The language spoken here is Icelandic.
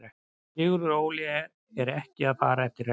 Sigurður Óli er ekki að fara eftir reglum.